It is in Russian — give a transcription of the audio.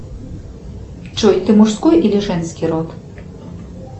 джой ты мужской или женский род